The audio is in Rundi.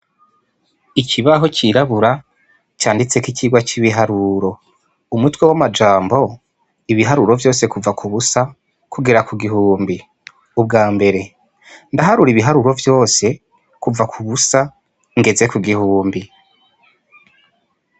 Ikibaho cirabura canditseko icigwa c' ibiharuro umutwe w' amajambo ibiharuro vyose kuva kubusa kugera ku gihumbi ubwambere ndaharura ibiharuro vyose kuva kubusa ngeze ku gihumbi.